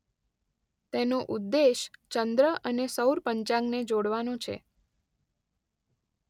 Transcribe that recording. તેનો ઉદ્દેશ ચંદ્ર અને સૌર પંચાંગને જોડવાનો છે.